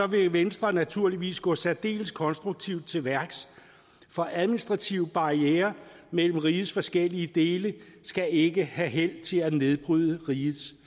vil venstre naturligvis gå særdeles konstruktivt til værks for administrative barrierer mellem rigets forskellige dele skal ikke have held til at nedbryde rigets